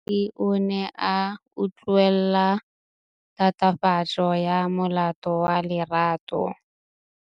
Moatlhodi o ne a utlwelela tatofatsô ya molato wa Lerato.